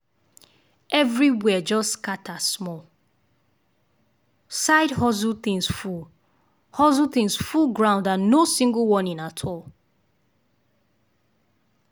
everywhere just scatter small—side hustle things full hustle things full ground and no single warning at all.